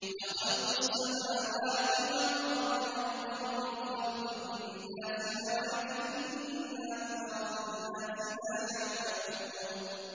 لَخَلْقُ السَّمَاوَاتِ وَالْأَرْضِ أَكْبَرُ مِنْ خَلْقِ النَّاسِ وَلَٰكِنَّ أَكْثَرَ النَّاسِ لَا يَعْلَمُونَ